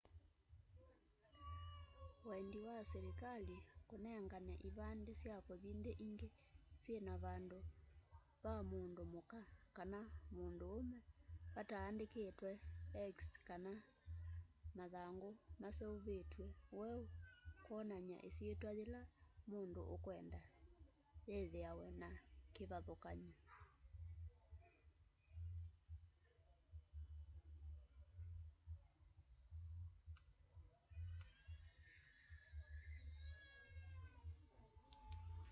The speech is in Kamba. wendi wa selikali kunengane ivande sya kuthi nthi ingi syina vandu va mundu muka kana munduume vataandikitwe x kana mathangu maseuvitw'e weu kwonany'a isyitwa yila mundu ukwenda withiawa na kivathukany'o